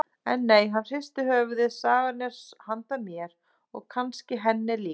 En nei, hann hristir höfuðið, sagan er handa mér og kannski henni líka.